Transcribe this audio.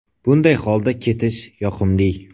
Bunday holda ketish yoqimli.